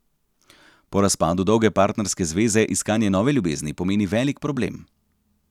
Po razpadu dolge partnerske zveze iskanje nove ljubezni pomeni velik problem.